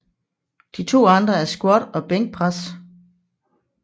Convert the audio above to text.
De to andre er squat og bænkpres